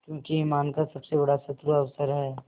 क्योंकि ईमान का सबसे बड़ा शत्रु अवसर है